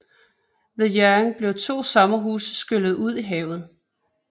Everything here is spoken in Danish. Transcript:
Ved Hjørring blev to sommerhuse skyllet i havet